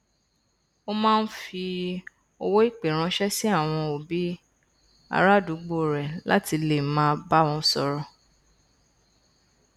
ó máa n fi owó ìpè ránṣẹ sí àwọn òbí arúgbó rẹ láti lè máa bá wọn sọrọ